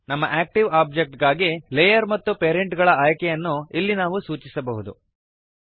ನಮ್ಮ active object ಗಾಗಿ layer ಮತ್ತು ಪೇರೆಂಟ್ ಗಳ ಆಯ್ಕೆಗಳನ್ನು ಇಲ್ಲಿ ನಾವು ಸೂಚಿಸಬಹುದು